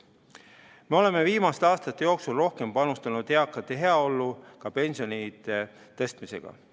Me oleme viimaste aastate jooksul rohkem panustanud eakate heaollu ka pensioni tõstmisega.